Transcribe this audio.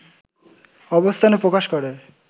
অবস্থান প্রকাশ করে